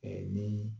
ni